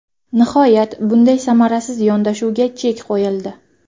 Nihoyat, bunday samarasiz yondashuvga chek qo‘yildi.